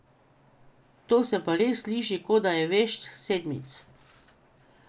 To se pa res sliši, kot da je vešč sedmic.